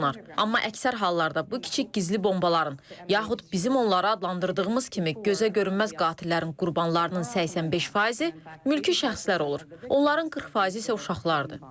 Amma əksər hallarda bu kiçik gizli bombaların, yaxud bizim onlara adlandırdığımız kimi gözə görünməz qatillərin qurbanlarının 85 faizi mülki şəxslər olur, onların 40 faizi isə uşaqlardır.